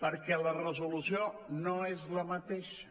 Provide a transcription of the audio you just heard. perquè la resolució no és la mateixa